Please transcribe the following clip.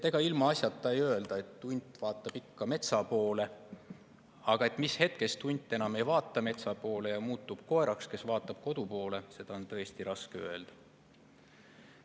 Ega ilmaasjata ei öelda, et hunt vaatab ikka metsa poole, aga mis hetkest hunt enam ei vaata metsa poole ja muutub koeraks, kes vaatab kodu poole, seda on tõesti raske öelda.